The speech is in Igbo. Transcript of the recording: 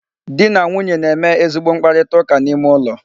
Di na nwunye na-eme ezigbo mkparitaụka n'ime ụlọ.